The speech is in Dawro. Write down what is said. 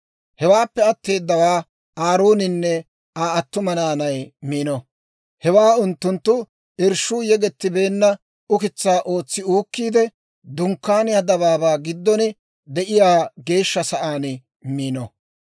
Hewaappe atteedawaa Aarooninne Aa attuma naanay miino; hewaa unttunttu irshshuu yegettibeenna ukitsaa ootsi uukkiide, Dunkkaaniyaa dabaabaa giddon de'iyaa geeshsha sa'aan miino.